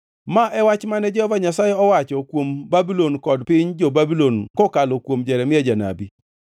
Ma e wach mane Jehova Nyasaye owacho kuom Babulon kod piny jo-Babulon kokalo kuom Jeremia janabi: